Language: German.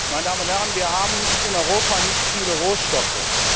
Meine Damen und Herren, wir haben in Europa nicht viele Rohstoffe.